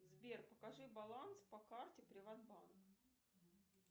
сбер покажи баланс по карте приват банка